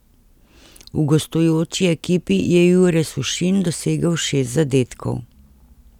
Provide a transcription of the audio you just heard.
V gostujoči ekipi je Jure Sušin dosegel šest zadetkov.